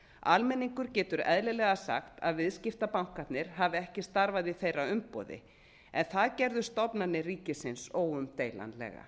almenningur getur eðlilega sagt að viðskiptabankanir hafi ekki starfað í þeirra umboði en það gerðu stofnanir ríkisins óumdeilanlega